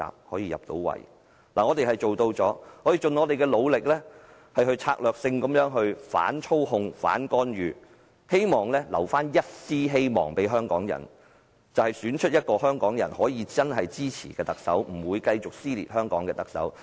我們做到了，我們已盡力策略性地反操控、反干預，希望為香港人留下一絲希望，就是選出一名香港人真正支持並不會繼續撕裂香港的特首。